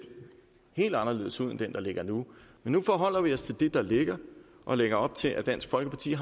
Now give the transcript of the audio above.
helt anderledes ud end den der ligger nu men nu forholder vi os til det der ligger og lægger op til at dansk folkeparti